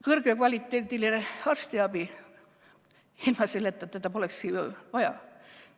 Kõrgekvaliteediline arstiabi, ilma selleta seda polekski ju vaja.